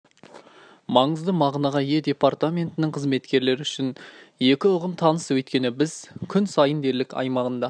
маңызды мағынаға ие департаментінің қызметкерлері үшін екі ұғым таныс өйткені біз күн сайын дерлік аймағында